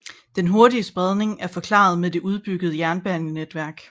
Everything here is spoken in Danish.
Den hurtige spredning er forklaret med det udbyggede jernbanenetværk